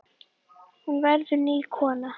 Hún verður ný kona.